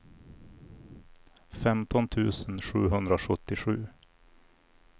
femton tusen sjuhundrasjuttiosju